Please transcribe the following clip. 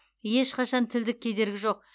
ешқашан тілдік кедергі жоқ